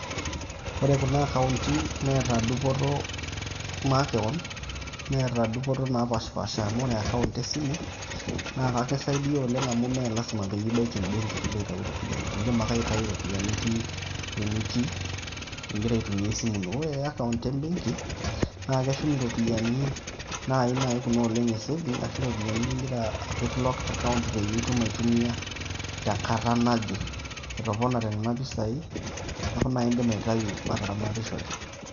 Ore kuna akaonti neeta dupoto makeon, neeta dupoto napaashipaasha amu ore akaont esimu, naa kisaidia oleng' amu mee lazima pee ibaki embeki piilo aitau iropiani indim ake aitau iropiani itii enitii ing'ira aitumia esimu ino. Ore akaont e benki, naa keshum iropiani nai kuna e saving ashu ropiani ning'ira apik locked account peyie itum aitumia tenkata naje etoponate nena pesai neeku nai indim aitau ataramatishore.